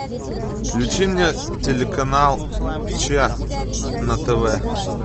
включи мне телеканал че на тв